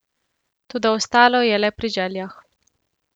Toda ostalo je le pri željah.